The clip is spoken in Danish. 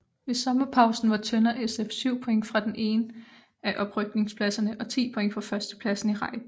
Ved sommerpausen var Tønder SF syv point fra den ene af oprykningspladserne og ti points fra førstepladsen i rækken